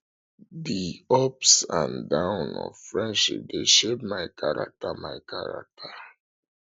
di ups and downs of friendship dey shape my character my character